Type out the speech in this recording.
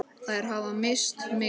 Þær hafa misst mikið.